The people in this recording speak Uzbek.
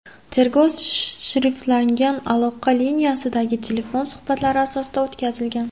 Tergov shifrlangan aloqa liniyasidagi telefon suhbatlari asosida o‘tkazilgan.